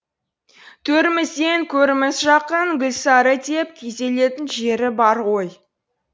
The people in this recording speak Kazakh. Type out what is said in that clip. төрімізден көріміз жақын гүлсары деп күйзелетін жері бар ғой